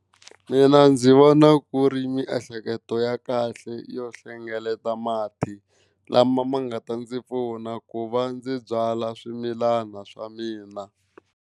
Mina ndzi vona ku ri miehleketo ya kahle yo hlengeleta mati lama ma nga ta ndzi pfuna ku va ndzi byala swimilana swa mina.